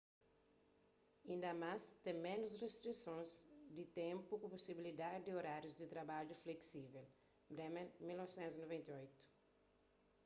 inda más ten ménus ristrisons di ténpu ku pusibilidadi di orárius di trabadju fleksível. bremer 1998